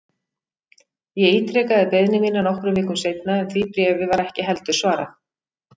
Ég ítrekaði beiðni mína nokkrum vikum seinna en því bréfi var ekki heldur svarað.